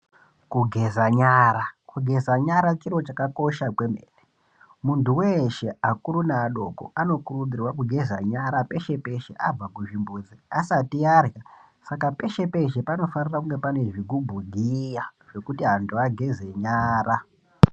Kugeza nyara kugeza nyara chiro chakakosha kwemene muntu weshe akuru neadoko anokurudzirwa kugeza nyara peshe peshe abva kuzvimbuzi asati Arya Saka peshe peshe anofana kunge ane zvigubhu giriya zvekuti antu ageze nyara.